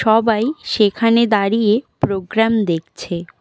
সবাই সেখানে দাঁড়িয়ে প্রোগ্রাম দেখছে।